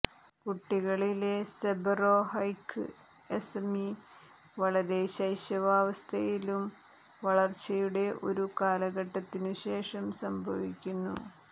കുട്ടികളിലെ seborrheic eczema വളരെ ശൈശവാവസ്ഥയിലും വളർച്ചയുടെ ഒരു കാലഘട്ടത്തിനുശേഷം സംഭവിക്കുന്നു